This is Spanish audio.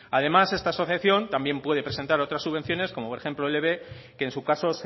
además esta asociación también puede presentar otras subvenciones como por ejemplo lb que en su caso